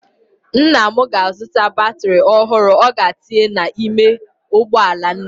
Nna m ga-azụta batrị ọhụrụ ọ ga-etinye n'ime ụgbọala nne m.